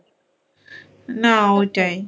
না ওইটাই।